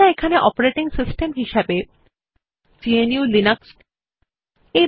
এখানে আমরা operating system হিসেবে গ্নু লিনাক্স এবং লিব্রিঅফিস সংকলন এর সংস্করণ ৩৩৪ ব্যবহার করছি